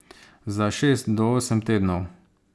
Za šest do osem tednov.